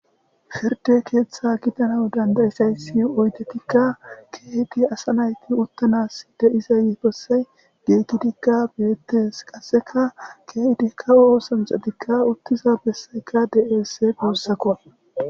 Pirda ketha gidanaw danda'izaysa oydetika Keehid asa nayti utanasi de'iza besayi giigidika betesi, qaseka keehidi kawo osanchati utiza besayka de'ese guusako.